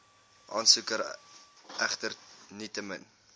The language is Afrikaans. aansoeker egter nietemin